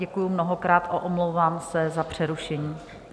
Děkuji mnohokrát a omlouvám se za přerušení.